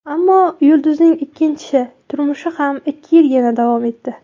Ammo yulduzning ikkinchi turmushi ham ikki yilgina davom etdi.